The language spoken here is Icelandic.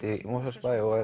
í Mosfellsbæ og